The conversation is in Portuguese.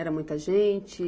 Era muita gente?